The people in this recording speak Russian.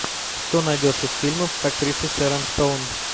что найдешь из фильмов с актрисой шерон стоун